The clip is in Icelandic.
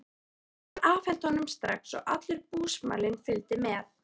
Hún var afhent honum strax og allur búsmalinn fylgdi með.